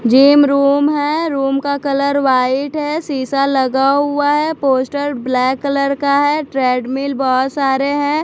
Gym room है room का colour white है शीशा लगा हुआ है पोस्टर ब्लैक कलर का है ट्रेडमिल बहोत सारे हैं।